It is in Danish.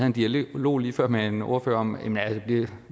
en dialog lige før med en ordfører om at